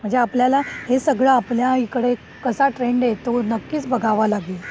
म्हणजे आपल्याला हे सगळं आपल्या इकडे कसा ट्रेंड आहे तो नक्कीच बघाव लागेल.